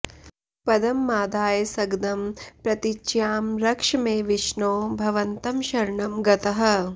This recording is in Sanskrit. पद्ममादाय सगदं प्रतीच्यां रक्ष मे विष्णो भवन्तं शरणं गतः